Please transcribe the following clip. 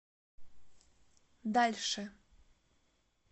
дальше